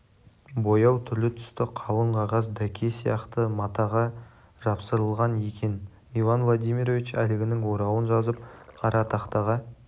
бояу түрлі-түсті қалың қағаз дәке сияқты матаға жапсырылған екен иван владимирович әлгінің орауын жазып қара тақтаға